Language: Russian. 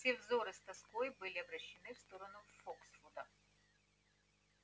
все взоры с тоской были обращены в сторону фоксвуда